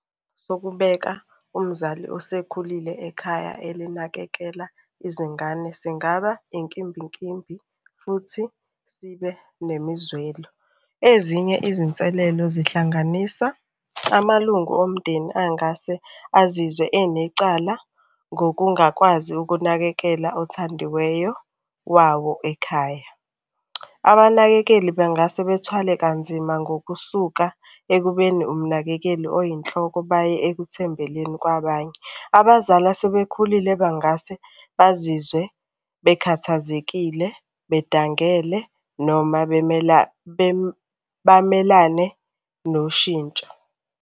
Sokubeka umzali osekhulile ekhaya elinakekela izingane singaba inkimbinkimbi, futhi sibe nemizwelo. Ezinye izinselelo zihlanganisa amalungu omndeni angase azizwe enecala ngokungakwazi ukunakekela othandiweyo wawo ekhaya, Abanakekeli bengase bethwele kanzima ngokusuka ekubeni umnakekeli oyinhloko baye ekuthembeleni kwabanye. Abazali asebekhulile bangase bazizwe bekhathazekile, bedangele noma bamelane noshintsho.